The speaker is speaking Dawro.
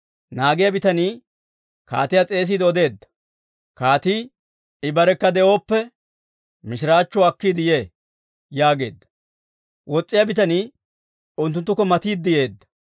Naagiyaa bitanii kaatiyaa s'eesiide odeedda. Kaatii, «I barekka de'oppe, mishiraachchuwaa akkiide yee» yaageedda. Wos's'iyaa bitanii unttunttukko matiide yeedda.